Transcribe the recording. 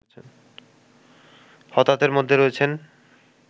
হতাহতের মধ্যে রয়েছেন